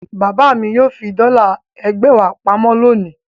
Bàbá mi yóò fi dọ́là ẹgbẹ̀wá pa mọ́ lónìí.